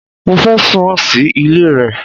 Mo fẹ́ sùn sí ilé rẹ.